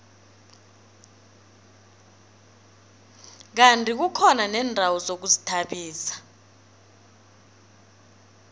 kandi kukhona neendawo zokuzithabisa